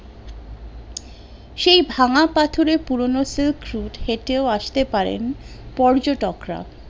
সেই ভাঙ্গা পাথরের পুরোনো silk route হেঁটেও আসতে পারেন পর্যটক রা